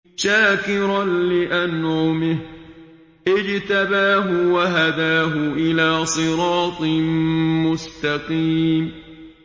شَاكِرًا لِّأَنْعُمِهِ ۚ اجْتَبَاهُ وَهَدَاهُ إِلَىٰ صِرَاطٍ مُّسْتَقِيمٍ